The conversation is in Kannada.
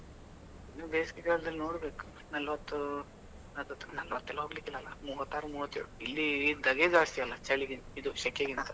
ನೀವು ಬೇಸಿಗೆಗಾಲದಲ್ಲಿ ನೋಡ್ಬೇಕು, ನಲ್ವತ್ತು ನಲ್ವತ್ತೆಲ್ಲ ಹೋಗ್ಲಿಕ್ಕೆ ಇಲ್ಲ ಅಲ್ಲ, ಮೂವತ್ತಾರು ಮೊವತ್ಯೇಳು. ಇಲ್ಲಿ ದಾಘೆ ಜಾಸ್ತಿ ಅಲ್ಲ, ಚಳಿಗಿಂತ ಇದು ಶೆಕೆಗಿಂತ?